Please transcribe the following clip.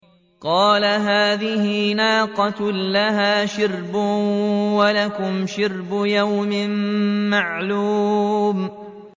قَالَ هَٰذِهِ نَاقَةٌ لَّهَا شِرْبٌ وَلَكُمْ شِرْبُ يَوْمٍ مَّعْلُومٍ